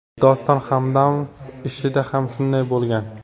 Doston Hamdamov ishida ham shunday bo‘lgan.